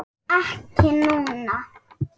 Ekki núna.